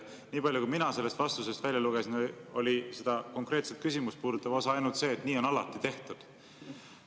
Nii palju, kui mina sellest vastusest välja lugesin, oli seda konkreetset küsimust puudutav lause ainult see, et nii on alati tehtud.